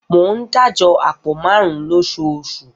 Mo ń dájọ àpò marun-un lóṣooṣù